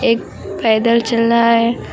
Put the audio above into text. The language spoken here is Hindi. एक पैदल चल रहा है।